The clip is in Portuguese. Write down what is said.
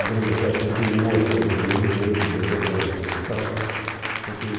O grande hotel continua sendo do mesmo jeito, o grande hotel de Poços de Caldas continua.